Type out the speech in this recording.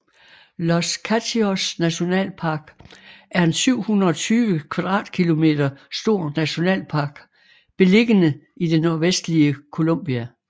Los Katíos National Park er en 720 km² stor nationalpark beliggende i det nordvestlige Colombia